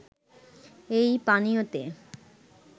এই পানীয়তে